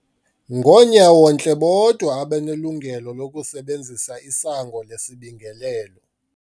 Ngoonyawontle bodwa abanelungelo lokusebenzisa isango lesibingelelo.